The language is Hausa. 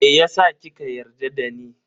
Meyasa kika yarda dani?